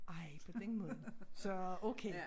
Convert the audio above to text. Ej på den måde så okay